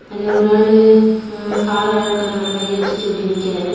அங்க ஒரு ஆல்லு அ கார் மேல கை வெச்சிட்டு அப்டே நிக்காரு.